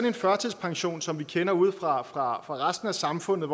en førtidspension som vi kender ude fra resten af samfundet